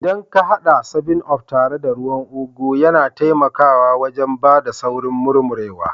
Idan ka hada 7up tare da ruwan ugu, yana taimakawa wajen ba da saurin murmurewa